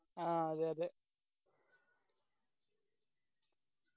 ആ അതെ അതെ